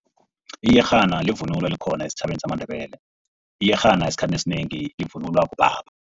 Iyerhana livunulo elikhona esitjhabeni samaNdebele. Iyerhana esikhathini esinengi ivunulwa bobaba.